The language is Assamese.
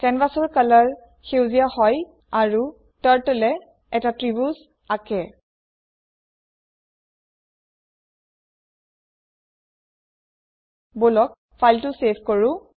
কেনভাছৰ কালাৰ সেউজীয়া হয় আৰু টাৰ্টল য়ে এটা ত্ৰিভুজ আকে বলক ফাইলটো চেভ কৰো